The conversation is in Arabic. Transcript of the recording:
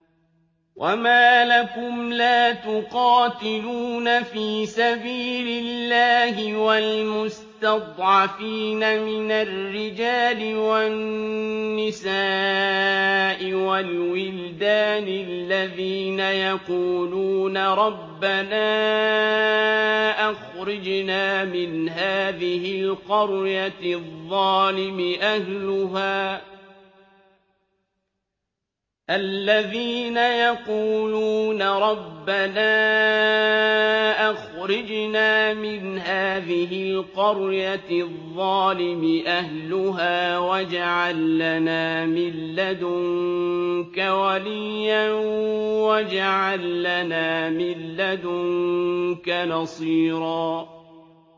وَمَا لَكُمْ لَا تُقَاتِلُونَ فِي سَبِيلِ اللَّهِ وَالْمُسْتَضْعَفِينَ مِنَ الرِّجَالِ وَالنِّسَاءِ وَالْوِلْدَانِ الَّذِينَ يَقُولُونَ رَبَّنَا أَخْرِجْنَا مِنْ هَٰذِهِ الْقَرْيَةِ الظَّالِمِ أَهْلُهَا وَاجْعَل لَّنَا مِن لَّدُنكَ وَلِيًّا وَاجْعَل لَّنَا مِن لَّدُنكَ نَصِيرًا